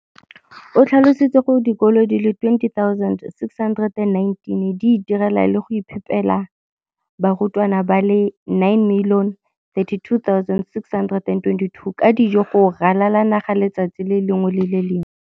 o tlhalositse gore dikolo di le 20 619 di itirela le go iphepela barutwana ba le 9 032 622 ka dijo go ralala naga letsatsi le lengwe le le lengwe.